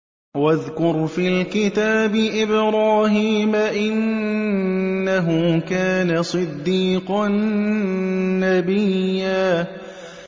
وَاذْكُرْ فِي الْكِتَابِ إِبْرَاهِيمَ ۚ إِنَّهُ كَانَ صِدِّيقًا نَّبِيًّا